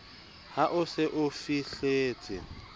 ha o se o fihletse